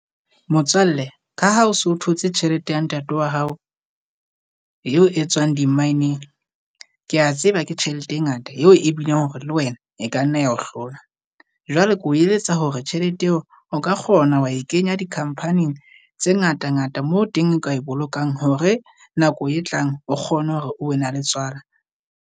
Motswalle ka ha o so thotse tjhelete ya ntate wa hao eo e tswang di-mine-eng. Kea tseba ke tjhelete e ngata eo e bileng hore le wena e ka nna ya ho hlola. Jwale ke ho eletsa hore tjhelete eo o ka kgona wa e kenya di-company-ng tse ngata-ngata moo teng o ka e bolokang hore nako e tlang o kgone hore o na la tswala.